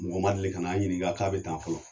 Mɔgɔ ma deli kana an ɲininka k'a be tan fɔlɔ